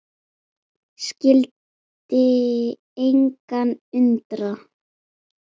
Skyldi engan undra.